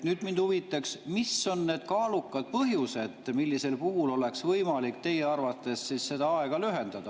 Mind huvitaks, mis on need kaalukad põhjused, millisel puhul oleks võimalik teie arvates siis seda aega lühendada.